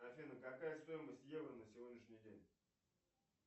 афина какая стоимость евро на сегодняшний день